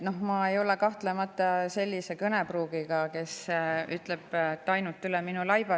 Ma ei ole kahtlemata sellise kõnepruugiga, et ma ütleksin, et ainult üle minu laiba.